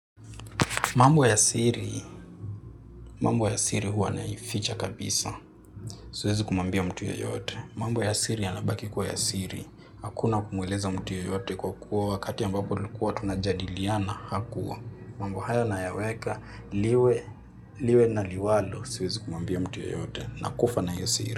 Mambo ya siri, mambo ya siri huwa naificha kabisa, siwezi kumwambia mtu yeyote. Mambo ya siri yanabaki kuwa ya siri, hakuna kumweleza mtu yoyote kwa kuwa wakati ambapo tulikuwa tunajadiliana hakuwa. Mambo haya na yaweka liwe liwe na liwalo, siwezi kumwambia mtu yeyote, nakufa na hiyo siri.